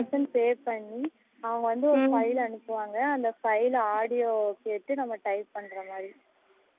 within pay பண்ணி அவங்க வந்து ஒரு file அனுப்புவாங்க அந்த file audio கேட்டு நம்ம type பண்ணுற மாதிரி